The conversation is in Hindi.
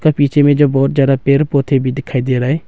पीछे में जो बहोत ज्यादा पेड़ पौधे भी दिखाई दे रहा है।